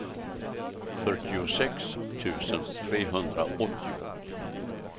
fyrtiosex tusen trehundraåttio